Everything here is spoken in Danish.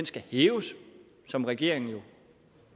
skal hæves som regeringen jo